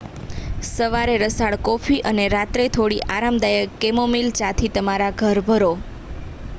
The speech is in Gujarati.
સવારે રસાળ કોફી અને રાત્રે થોડી આરામદાયક કેમોમિલ ચાથી તમારા ઘર ભરો